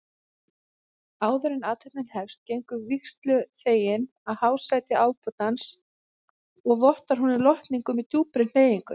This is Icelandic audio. Áðuren athöfnin hefst gengur vígsluþeginn að hásæti ábótans og vottar honum lotningu með djúpri hneigingu.